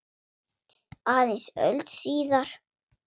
Aðeins öld síðar.